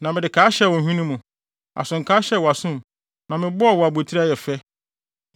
na mede kaa hyɛɛ wo hwene mu, asokaa hyɛɛ wʼasom na mebɔɔ wo abotiri a ɛyɛ fɛ.